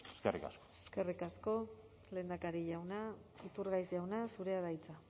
eskerrik asko eskerrik asko lehendakari jauna iturgaiz jauna zurea da hitza